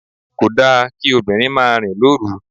Kò da kí obìnrin máa rìn lóru.